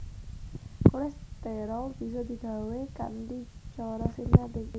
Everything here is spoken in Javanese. Kolesterol bisa digawé kanthi cara sintetik